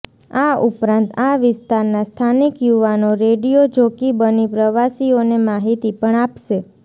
આ ઉપરાંત આ વિસ્તારના સ્થાનિક યુવાનો રેડીયો જોકી બની પ્રવાસીઓને માહિતી પણ આપશે